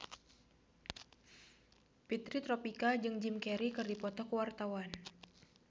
Fitri Tropika jeung Jim Carey keur dipoto ku wartawan